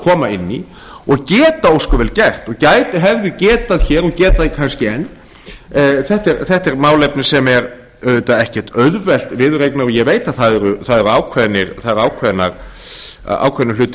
koma inn í og geta ósköp vel gert og hefðu getað hér og geta það kannski enn þetta er málefni sem er auðvitað ekkert auðvelt viðureignar og ég veit að það eru ákveðnir hagfræðilegir hlutir